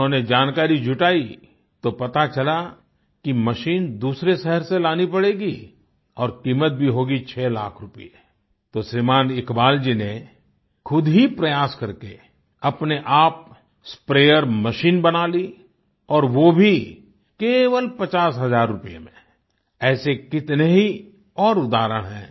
उन्होंने जानकारी जुटाई तो पता चला कि मशीन दूसरे शहर से लानी पड़ेगी और कीमत भी होगी छ लाख रूपये तो श्रीमान इकबाल जी ने खुद ही प्रयास करके अपने आप स्प्रेयर मशीन बना ली और वो भी केवल पचास हज़ार रूपये में ऐसे कितने ही और उदाहरण हैं